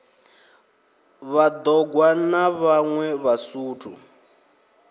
vhad ogwa na vhaṋwe vhasuthu